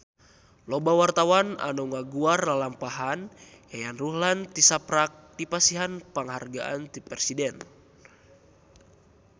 Loba wartawan anu ngaguar lalampahan Yayan Ruhlan tisaprak dipasihan panghargaan ti Presiden